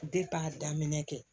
a daminɛ kɛ